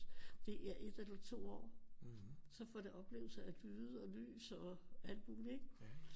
Det er 1 eller 2 år så får det oplevelser af lyde og lys og alt muligt ikke